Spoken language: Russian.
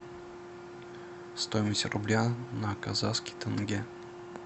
стоимость рубля на казахский тенге